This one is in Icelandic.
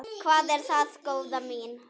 Hvað er það, góða mín?